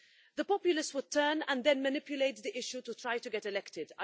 The populists would turn and then manipulate the issue to try to get elected.